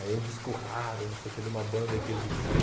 Aí é um disco raro, não sei o quê, de uma banda que existiu.